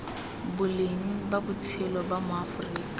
boleng ba botshelo ba maaforika